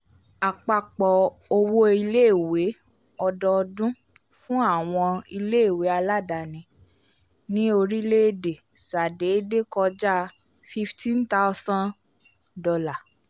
apapọ owo ilè-ìwé ọdọọdún fún àwọn ilè-ìwé aladaani ni orílẹ-èdè sa déédé kọja $ fifteen thousand